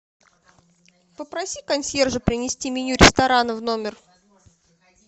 попроси консьержа принести меню ресторана в номер